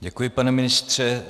Děkuji, pane ministře.